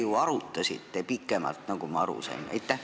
Te ju arutasite pikemalt, nagu ma aru sain.